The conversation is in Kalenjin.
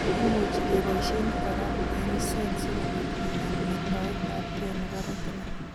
Imuch keboishe kora eng'set sikobit kinyaa metoetabge nebo retina